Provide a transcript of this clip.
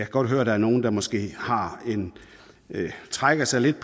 godt høre at der er nogle der måske trækker sig lidt